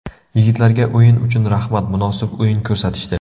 Yigitlarga o‘yin uchun rahmat, munosib o‘yin ko‘rsatishdi.